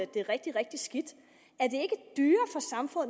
det rigtig rigtig skidt